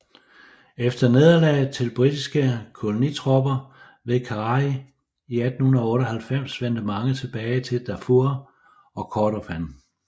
Efter nederlaget til britiske kolonitropper ved Karari i 1898 vendte mange tilbage til Darfur og Kordofan